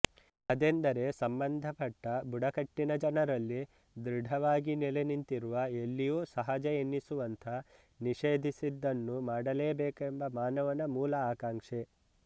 ಅದೆಂದರೆ ಸಂಬಂಧಪಟ್ಟ ಬುಡಕಟ್ಟಿನ ಜನರಲ್ಲಿ ದೃಢವಾಗಿ ನೆಲೆನಿಂತಿರುವ ಎಲ್ಲಿಯೂ ಸಹಜ ಎನ್ನಿಸುವಂಥ ನಿಷೇಧಿಸಿದ್ದನ್ನು ಮಾಡಲೇಬೇಕೆಂಬ ಮಾನವನ ಮೂಲ ಆಕಾಂಕ್ಷೆ